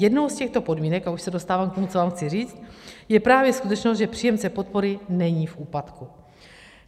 Jednou z těchto podmínek, a už se dostávám k tomu, co vám chci říct, je právě skutečnost, že příjemce podpory není v úpadku.